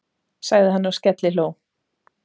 sagði hann og skellihló.